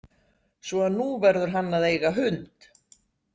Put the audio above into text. Svo að núna verður hann að eiga hund.